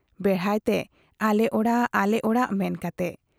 ᱵᱮᱲᱦᱟᱭ ᱛᱮ ᱟᱞᱮ ᱚᱲᱟᱜ ᱟᱞᱮ ᱚᱲᱟ ᱢᱮᱱ ᱠᱟᱛᱮ ᱾